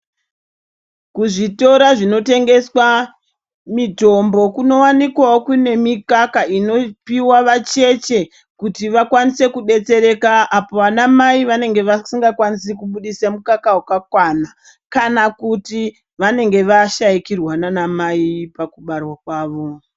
Kuzvitoro zvinotengeswa mitombo kunowanikwawo kune mikaka inoshandiswa vacheche kuti vakwanise kudetsereka ana mai apo uko kwavasingakwanisi kubidisa mikaka wakwana kana kuti vanenge vashaikirwa nana mai pakushaikirwa.